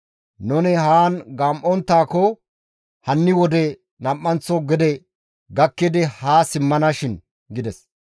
Nuni haan gam7onttaako hanni wode nam7anththo gede gakkidi ha simmana shin» gides.